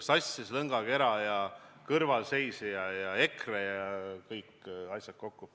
– sassis lõngakera ja kõrvalseisjaks olemine ja EKRE ja kõik asjad kokku.